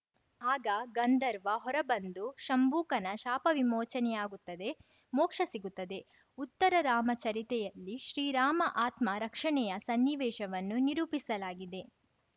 ಆಗ ಗಂಧರ್ವ ಹೊರ ಬಂದು ಶಂಬೂಕನ ಶಾಪ ವಿಮೋಚನೆಯಾಗುತ್ತದೆ ಮೋಕ್ಷ ಸಿಗುತ್ತದೆ ಉತ್ತರರಾಮಚರಿತೆಯಲ್ಲಿ ಶ್ರೀರಾಮ ಆತ್ಮ ರಕ್ಷಣೆಯ ಸನ್ನಿವೇಶವನ್ನು ನಿರೂಪಿಸಲಾಗಿದೆ